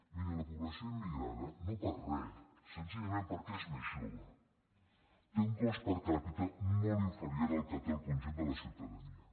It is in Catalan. miri la població immigrada no per re senzillament perquè és més jove té un cost per capita molt inferior al que té el conjunt de la ciutadania